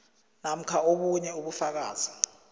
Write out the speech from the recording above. namkha obunye ubufakazi